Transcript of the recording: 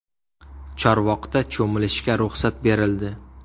Chorvoqda cho‘milishga ruxsat berildi.